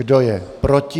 Kdo je proti?